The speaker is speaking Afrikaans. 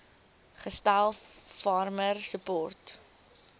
gestel farmer support